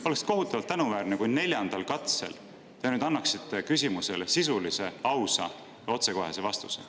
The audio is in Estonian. Oleks kohutavalt tänuväärne, kui te neljandal katsel annaksite küsimusele sisulise, ausa ja otsekohese vastuse.